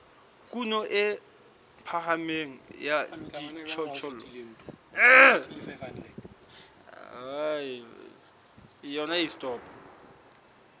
kuno e phahameng ya dijothollo